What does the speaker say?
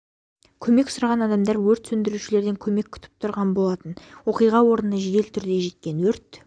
көмек сұраған адамдар өрт сөндірушілерден көмек күтіп тұрған болатын оқиға орнына жедел түрде жеткен өрт